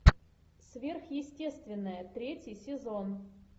сверхъестественное третий сезон